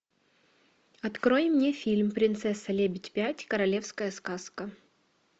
открой мне фильм принцесса лебедь пять королевская сказка